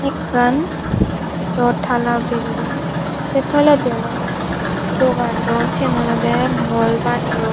ekkan daw tala belding se toledi olode dogan don sen olode mol baneyon.